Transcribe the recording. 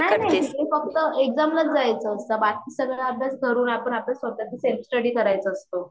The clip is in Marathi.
नाही नाही नाही फक्त एक्जाम लाच जायच असता बाकी सगळा अभ्यास घरून आपण आपली स्वतःची सेल्फ स्टडि करायचा असतो.